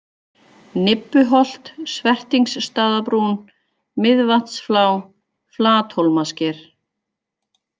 Nibbuholt, Svertingsstaðabrún, Miðvatnsflá, Flathólmasker